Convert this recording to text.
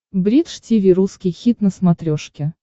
бридж тиви русский хит на смотрешке